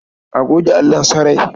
A goge allon sarai.